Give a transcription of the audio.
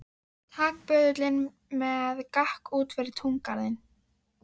Tak böðulinn með og gakk út fyrir túngarðinn.